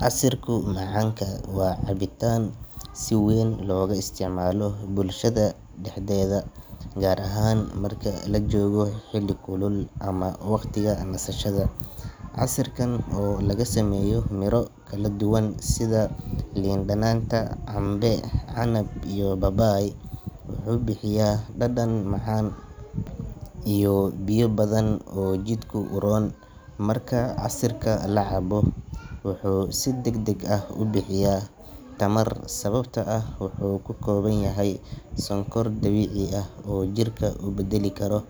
Casirku macanka waa cabitaan si weyn looga isticmaalo bulshada dhexdeeda, gaar ahaan marka la joogo xilli kulul ama waqtiga nasashada. Casirkan oo laga sameeyo miro kala duwan sida liin dhanaanta, cambe, canab, iyo babaay, wuxuu bixiyaa dhadhan macaan iyo biyo badan oo jidhka u roon. Marka casirka la cabo, wuxuu si degdeg ah u bixiyaa tamar sababtoo ah wuxuu ka kooban yahay sonkor dabiici ah oo jirka u beddeli karo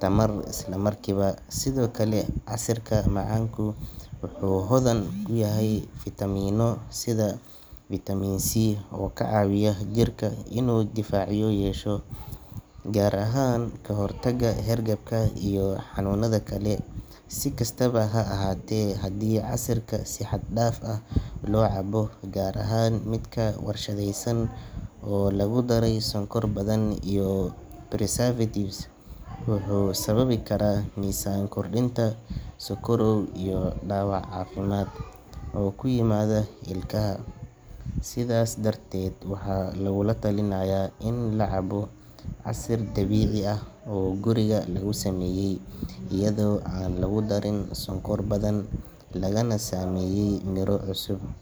tamar isla markiiba. Sidoo kale, casirka macanka wuxuu hodan ku yahay fiitamiinno sida vitamin C oo ka caawiya jirka inuu difaacyo yeesho, gaar ahaan kahortagga hargabka iyo xanuunada kale. Si kastaba ha ahaatee, haddii casirka si xad dhaaf ah loo cabo, gaar ahaan midka warshadaysan oo lagu daray sonkor badan iyo preservatives, wuxuu sababi karaa miisaan kordhinta, sokorow iyo dhaawac caafimaad oo ku yimaada ilkaha. Sidaas darteed, waxaa lagugula talinayaa in la cabbo casir dabiici ah oo guriga lagu sameeyey, iyadoo aan lagu darin sonkor badan, lagana sameeyey miro cusub.